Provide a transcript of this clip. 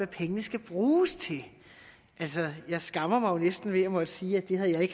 pengene skal bruges til altså jeg skammer mig jo næsten ved at måtte sige at det havde jeg